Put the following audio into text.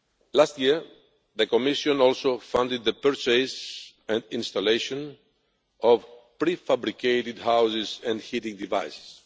Last year, the Commission also funded the purchase and installation of prefabricated houses and heating devices.